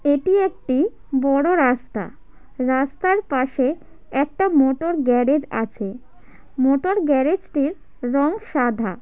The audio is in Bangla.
এটি একটি বড় রাস্তা রাস্তার পাশে একটা মোটর গ্যারেজ আছে। মোটর গ্যারেজ -টির রং সাধা।